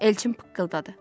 Elçin pıqqıldadı.